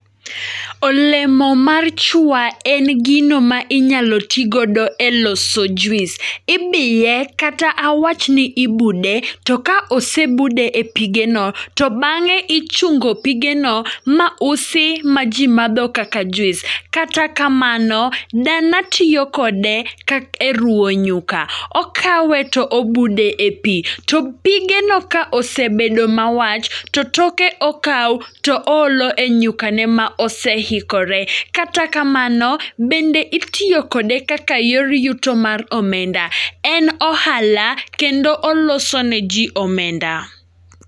Olemo mar chwa en gino ma inyalo ti godo e loso juis. Ibiye kata awachni ibude, to ka osebude e pige no, to bang'e ichungo pigno ma usi ma ji madho kaka juis. Kata kamano, dana tiyo kode e ruwo nyuka, okawe to obude e pi. To pige no ka osebedo ma wach, to toke okawo to oolo e nyuka ne ma osehikore. Kata kamano, bende itiyo kode kaka yor yuto mar omenda. En ohala kendo oloso ne ji omenda.